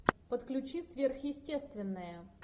подключи сверхъестественное